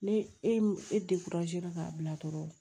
Ne e ka bila dɔrɔn